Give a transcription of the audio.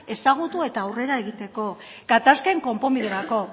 ezagutu eta aurrera egiteko gatazken konponbiderako